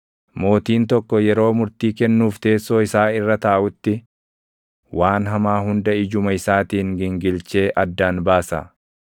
Mootiin tokko yeroo murtii kennuuf teessoo isaa irra taaʼutti, waan hamaa hunda ijuma isaatiin gingilchee addaan baasa.